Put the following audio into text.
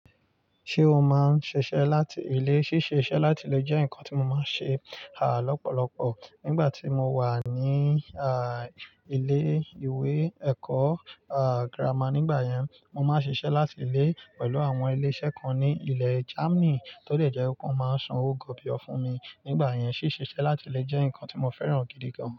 Ṣé o máa ń ṣiṣẹ́ láti ilé? Síṣe iṣẹ́ láti ilé jẹ́ nǹkan tí mo máa ń ṣe, ah, lọ́pọ̀lọpọ̀. Nígbà tí mo wà ní, ah, ilé ìwé ẹ̀kọ́, ah, gírámà nígbà yẹn, mo máa ń ṣiṣẹ́ láti ilé pẹ̀lú àwọn ilé-iṣẹ́ kan ní ilẹ̀ Germany tó dẹ̀ jẹ́ wípé wọ́n máa ń san owó gọbi ọ fún mi. Nígbà yẹn, ṣíṣe iṣẹ́ láti ilé jẹ́ nǹkan tí mo fẹ́ràn gidi gan.